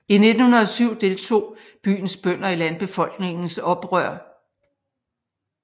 I 1907 deltog byens bønder i Landbefolkningens oprør